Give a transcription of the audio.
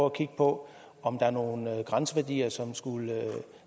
at kigge på om der er nogle grænseværdier som skulle